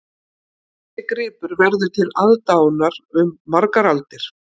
Þessi gripur verður til aðdáunar um margar aldir